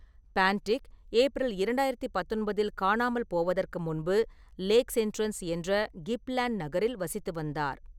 பான்டிக் April இரண்டாயிரத்து பத்தொன்பதில் காணாமல் போவதற்கு முன்பு லேக்ஸ் என்ட்ரன்ஸ் என்ற கிப்ஸ்லேண்ட் நகரில் வசித்து வந்தார்.